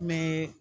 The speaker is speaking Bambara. Mɛ